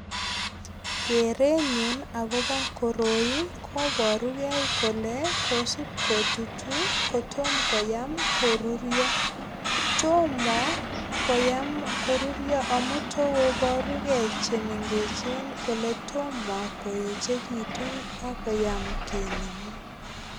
Kerenyun agobo koroi koborugei kole kosup kotutu kotom koyam kururio. Tomo koyam korurio amu tokobarugei chemengechen kole tomo koechegitu ak koyam kinemu.